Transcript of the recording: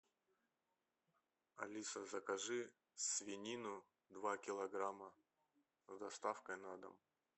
алиса закажи свинину два килограмма с доставкой на дом